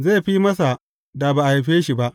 Zai fi masa, da ba a haife shi ba.